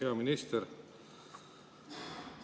Hea minister!